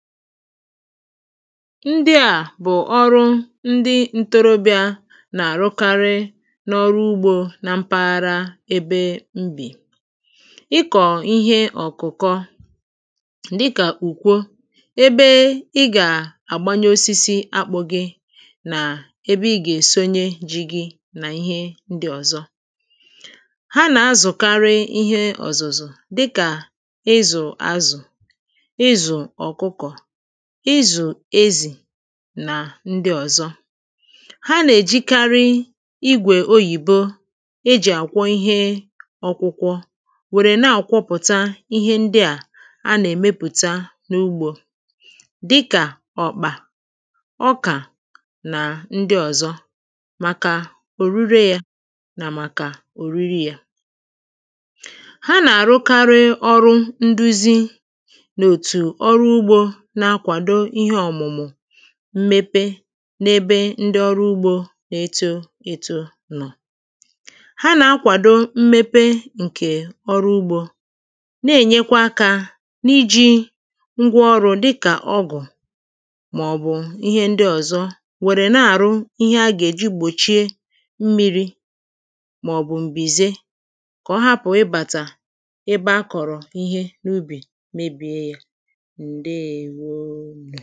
ndị à bụ̀ ọrụ ndị n̄tōrōbịà nà-àrụkarị n’ọrụ ugbō na mpahara ebe m bì ịkọ̀ ihe ọ̀kụ̀kọ dịkà ùkwo ebe ị gà-àgbaye osisi akpụ̄ gị̄ nà ebe i gà-èsoye jī gī nà ihe ndị ọ̀zọ ha nà-azụ̀karị ihe ọ̀zụ̀zụ̀ dịkà ịzụ̀ azụ̀ ịzụ̀ ọ̀kụkụ̀ ịzụ̀ ezì nà ndị ọ̀zọ ha nà-èjikarị igwè oyìbo ejì akwọ̀ ihe ọ̄kụ̄kwọ̄ nwèrè na-àkwọpụ̀ta ihe ndị à a nà-èmepùta n’ugbō dịkà ọ̀kpà ọkà nà ndị ọ̀zọ màkà òrure yā nà màkà òriri yā ha nà-àrụkarị ọrụ nduzi nà òtù ọ́rụ́ úgbō ná-ákʷàdó íhé ọ̀mụ̀mụ̀ mmepe n’ebe ndị ọrụ ugbō na-eto ētō nọ̀ ha nà-akawàdo mmepe ǹkè ọrụ ugbō na-ènyekwa akā n’ijī n̄gwā ōṛụ̀ dịkà ọgụ̀ màọ̀bụ̀ ihe ndị ọ̀zọ nwèrè na-àrụ ihe ha gà-èji gbòchie mmīrī màọ̀bụ̀ m̀bìze kà ọ hapụ̀ ịbàtà ebe ha kọ̀rọ̀ ihe ubì mebìe yā ǹdeèwo